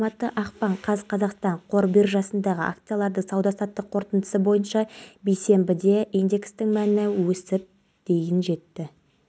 ол тамақтанып үйге келетін шығар деп ойладым таңғы асқа ұйықтап қалыппын жолдасым таңғы ұлымыздың үйде қонбағанын